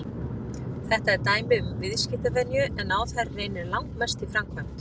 Þetta er dæmi um viðskiptavenju en á þær reynir langmest í framkvæmd.